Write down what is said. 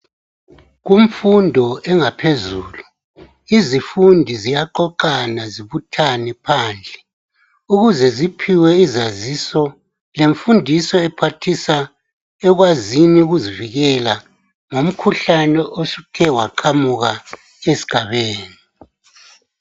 Kumfundo engaphezulu, izifundi ziyaqoqana zibuthane phandle ukuze ziphiwe izaziso lemfundiso ephathisa ekwazini ukuzivikela ngomkhuhlane osuthe waqhamuka esigabeni.